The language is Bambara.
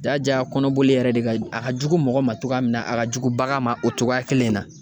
Ja ja kɔnɔboli yɛrɛ de ka, a ka jugu mɔgɔ ma togoya min na a ka jugu bagan ma o cogoya kelen in na.